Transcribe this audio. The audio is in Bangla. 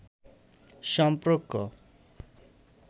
সম্পর্ক